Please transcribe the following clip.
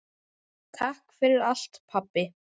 Takk fyrir allt pabbi.